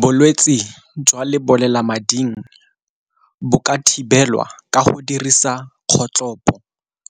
Bolwetsi jwa lebolelamading bo ka thibelwa ka go dirisa kgotlhopo